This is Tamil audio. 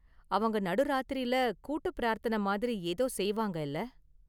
அவங்க நடு ராத்திரில கூட்டுப் பிரார்த்தன மாதிரி ஏதோ செய்வாங்க இல்ல.